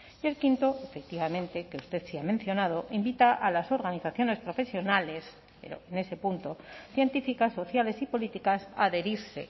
y el quinto efectivamente que usted sí ha mencionado invita a las organizaciones profesionales pero en ese punto científicas sociales y políticas a adherirse